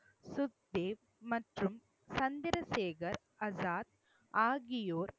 சுக்தேவ் மற்றும் சந்திரசேகர் ஆசாத் ஆகியோர்